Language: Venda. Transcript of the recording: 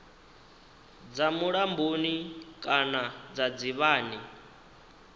dza mulamboni kana dza dzivhani